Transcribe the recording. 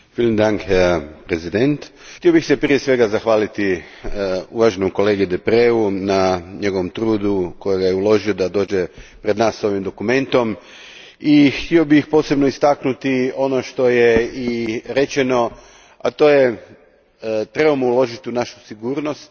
Gospodine predsjedniče, htio bih se prije svega zahvaliti uvaženom kolegi Deprezu na njegovom trudu koji je uložio da dođe pred nas s ovim dokumentom i htio bih posebno istaknuti ono što je i rečeno, a to je da trebamo uložiti u našu sigurnost.